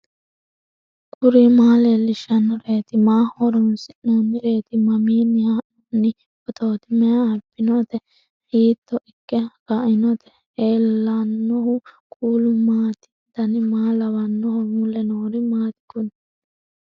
kuri maa leellishannoreeti maaho horoonsi'noonnireeti mamiinni haa'noonni phootooti mayi abbinoote hiito ikke kainote ellannohu kuulu maati dan maa lawannoho mule noori maati kuni